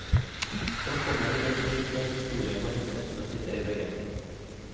Han kommer til et hus der historien og hendelsene sitter i veggene.